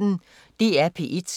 DR P1